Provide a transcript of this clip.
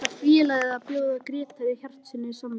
Ætlar félagið að bjóða Grétari Hjartarsyni samning?